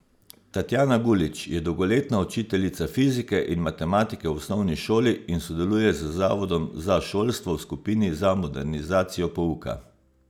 Tatjana Gulič je dolgoletna učiteljica fizike in matematike v osnovni šoli in sodeluje z zavodom za šolstvo v skupini za modernizacijo pouka.